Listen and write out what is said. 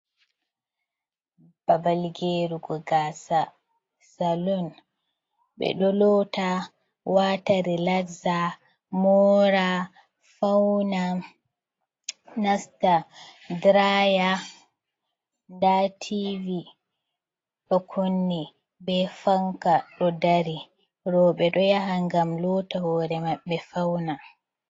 Babal gerugo gasa salun. Ɓeɗo lota, wata relaxa, mora, fauna nasta diraya, nda tivi ɗo kunni be fanka ɗo dari. Roɓe ɗo yaha ngam lota hore maɓɓe fauna.